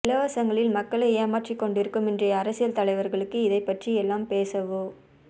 இலவசங்களில் மக்களை ஏமாற்றிக் கொண்டிருக்கும் இன்றைய அரசியல் தலைவர்களுக்கு இதைப் பற்றி எல்லாம் பேசவோ